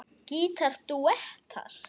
Gítar dúettar